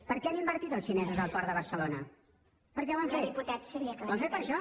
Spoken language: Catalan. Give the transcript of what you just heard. per què han invertit els xinesos al port de barcelona per què ho han fet ho han fet per això